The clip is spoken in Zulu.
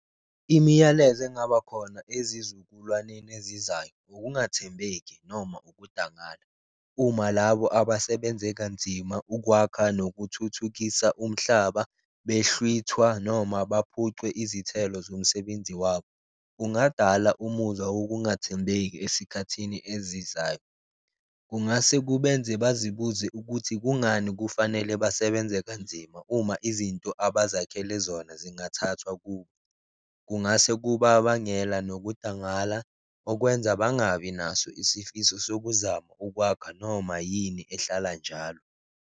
Imiyalezo engaba khona ezizukulwaneni ezizayo ukungathembeki noma ukudangala uma labo abasebenze kanzima ukwakha nokuthuthukisa umhlaba, behlwithwa noma baphucwe izithelo zomsebenzi wabo. Kungadala umuzwa wokungathembeki esikhathini ezizayo, kungase kubenze bazibuze ukuthi kungani kufanele basebenze kanzima, uma izinto abazakhele zona zingathathwa kubo. Kungase kubabangela nokudangala okwenza bangabi naso isifiso sokuzama ukwakha noma yini ehlala njalo.